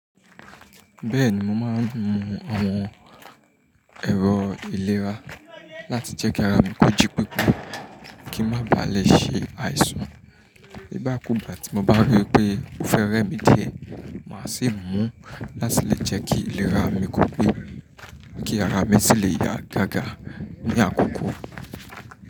Bẹ́ẹ̀ni mo máa ń mu awon ẹ̀rọ ìlera láti jẹ́ kí ara mi kò jí pepé, kí n má baà lè ṣe àìsàn. Bí gba kú gbá ti mo bá rí pé o fẹ́ rẹ mí di é, màá sì mú láti lè jẹ́ kí ìlera mi kò pẹ́, kí ara mi sì lè yá gágà ní àkókò.